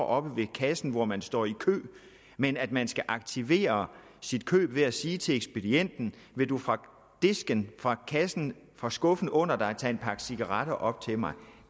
oppe ved kassen hvor man står i kø men at man skal aktivere sit køb ved at sige til ekspedienten vil du fra disken fra kassen fra skuffen under dig tage en pakke cigaretter op til mig